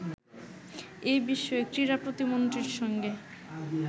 এ বিষয়ে ক্রীড়া প্রতিমন্ত্রীর সঙ্গে